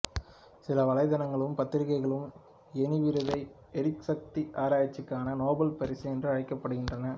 சில வலைத்தளங்களும் பத்திரிகைகளும் எனி விருதை எரிசக்தி ஆராய்ச்சிக்கான நோபல் பரிசு என்று அழைக்கின்றன